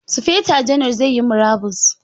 Sufeto janar zai yi murabus.